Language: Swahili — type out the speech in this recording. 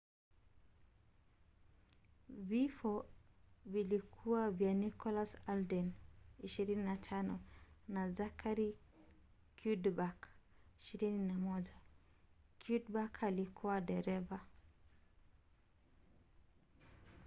vifo vilikuwa vya nicholas alden 25 na zachary cuddeback 21. cuddeback alikuwa dereva